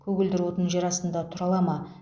көгілдір отын жерастында тұра ала ма